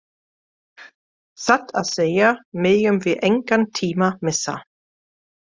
Satt að segja megum við engan tíma missa.